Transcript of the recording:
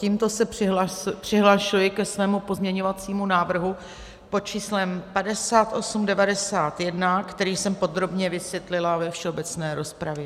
Tímto se přihlašuji ke svému pozměňovacímu návrhu pod číslem 5891, který jsem podrobně vysvětlila ve všeobecné rozpravě.